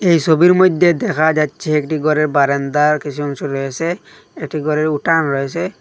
এই ছবির মইধ্যে দেখা যাচ্ছে একটি ঘরের বারান্দার কিছু অংশ রয়েছে একটি ঘরের উঠান রয়েছে।